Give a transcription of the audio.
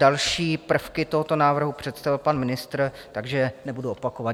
Další prvky tohoto návrhu představil pan ministr, takže nebudu opakovat.